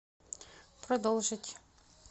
продолжить